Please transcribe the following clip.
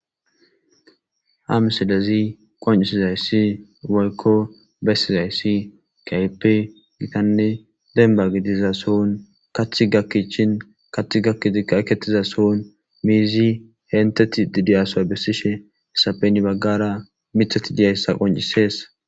Hamsilezi qoncisizayssi woykko bessizayssi kaype gitanne denba gidiza sohun kaththi gakkichin kaththieketiza sohun miizi henteti didiyaso bessishe hesapeni baggara mithati diyayssa qoncisees.